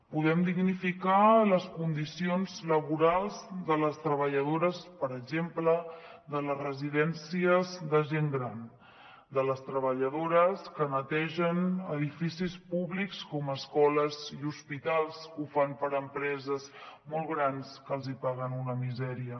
podem dignificar les condicions laborals de les treballadores per exemple de les residències de gent gran de les treballadores que netegen edificis públics com escoles i hospitals que ho fan per a empreses molt grans que els paguen una misèria